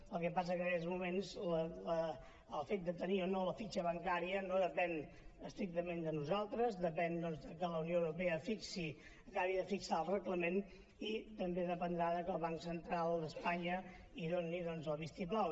el que passa és que en aquests moments el fet de tenir o no la fitxa bancària no depèn estrictament de nosaltres depèn de que la unió europea fixi acabi de fixar el reglament i també dependrà de que el banc central d’espanya hi doni el vistiplau